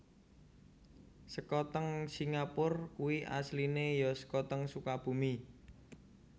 Sekoteng singapur kui asline yo sekoteng Sukabumi